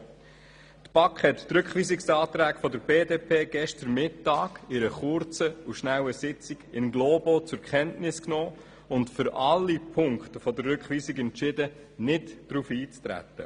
Die BaK hat den Rückweisungsantrag der BDP gestern Mittag in einer kurzen und schnellen Sitzung in globo zur Kenntnis genommen und für alle Auflagen entschieden, es sei nicht auf diese einzutreten.